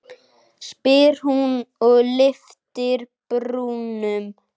spyr hún og lyftir brúnum.